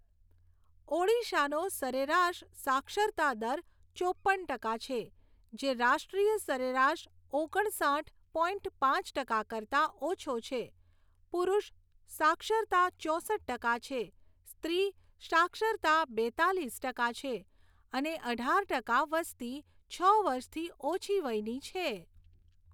ઓડિશાનો સરેરાશ સાક્ષરતા દર ચોપ્પન ટકા છે જે રાષ્ટ્રીય સરેરાશ ઓગણસાઠ પોઈન્ટ પાંચ ટકા કરતાં ઓછો છે. પુરૂષ સાક્ષરતા ચોસઠ ટકા છે. સ્ત્રી સાક્ષરતા બેંતાલીસ ટકા છે અને અઢાર ટકા વસ્તી છ વર્ષથી ઓછી વયની છે.